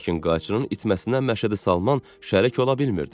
Lakin qayçının itməsinə Məşədi Salman şərik ola bilmirdi.